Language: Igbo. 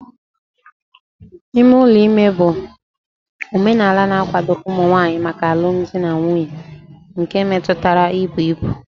Ime ụlọ ime ibu bụ omenala na-akwado ụmụ nwanyị maka alụmdi na nwunye nke metụtara ibu ibu.